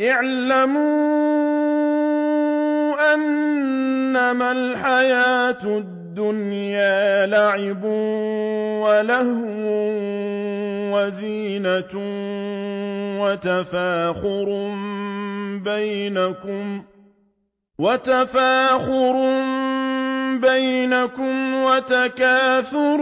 اعْلَمُوا أَنَّمَا الْحَيَاةُ الدُّنْيَا لَعِبٌ وَلَهْوٌ وَزِينَةٌ وَتَفَاخُرٌ بَيْنَكُمْ وَتَكَاثُرٌ